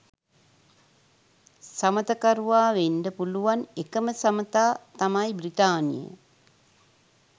සමථකරුවා වෙන්ඩ පුළුවන් එකම සමතා තමයි බ්‍රිතාන්‍යය.